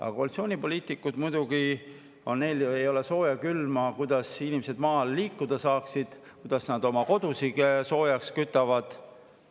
Aga koalitsioonipoliitikutel ei ole muidugi sooja ega külma sellest, kuidas inimesed maal liikuda saavad, kuidas nad oma kodusid soojaks kütavad.